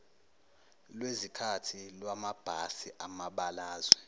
lwezikhathi lwamabhasi amabalazwe